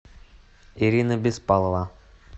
ирина беспалова